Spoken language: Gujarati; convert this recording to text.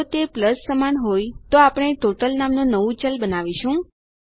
જો તે પ્લસ સમાન હોય તો આપણે ટોટલ નામનું નવું ચલ બનાવીશું